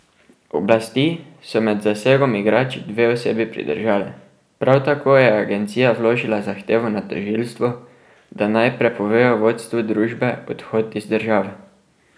Oblasti so med zasegom igrač dve osebi pridržale, prav tako je agencija vložila zahtevo na tožilstvo, da naj prepovejo vodstvu družbe odhod iz države.